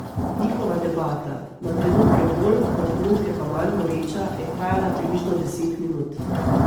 Njihova debata, na trenutke bolj, na trenutke pa manj goreča, je trajala približno deset minut.